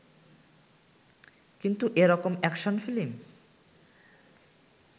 কিন্তু এরকম action film